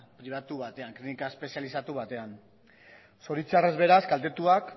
pribatu batean klinika espezializatu batean zoritxarrez beraz kaltetuak